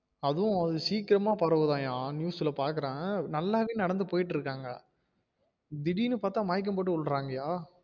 அதுவும் அது சீகிரம்மா பரவுதாம்யா news ல பாக்குறே நல்லதா நடந்து போயிடு இருக்காங்க திடிருன்னு பாத்தா மயக்கம் போட்டு விழுறாங்கயா